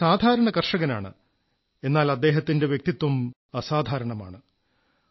അദ്ദേഹം ഒരു സാധാരണ കർഷകനാണ് എന്നാൽ അദ്ദേഹത്തിന്റെ വ്യക്തിത്വം അസാധാരണമാണ്